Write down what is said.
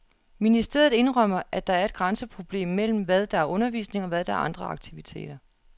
Ministeriet indrømmer, at der er et grænseproblem mellem, hvad der er undervisning, og hvad der er andre aktiviteter.